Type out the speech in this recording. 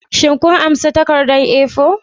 Shin kun karba takardar A4?